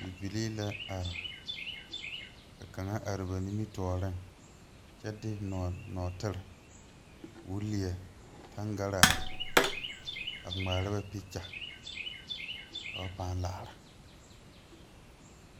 Bibilii la are ka kaŋa are ba nimitooreŋ kyɛ de nɔɔtire koo lie tangaraa a ngmaara ba peekya ka ba pãã laara.